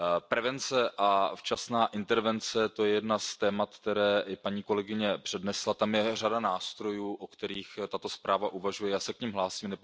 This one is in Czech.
Prevence a včasná intervence, to je jedno z témat, které paní kolegyně přednesla. Je tam řada nástrojů, o kterých tato zpráva uvažuje, já se k nim hlásím.